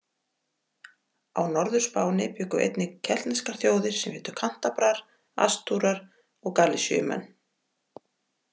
Á Norður-Spáni bjuggu einnig keltneskir þjóðir sem hétu Kantabrar, Astúrar og Galisiumenn.